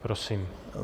Prosím.